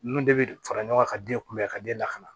Nun de bɛ fara ɲɔgɔn ka den kunbɛn ka den lakana